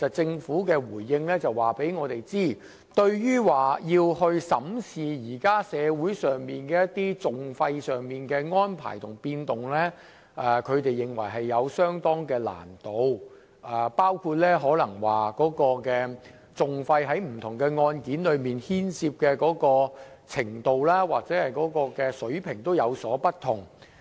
政府在回應中指出，對於審視現時社會上各項訟費的變動，他們認為有相當難度，當中原因包括訟費在不同案件中牽涉的程度和水平也有不同。